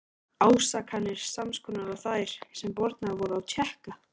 Ásakanir sams konar og þær, sem bornar voru á Tékka.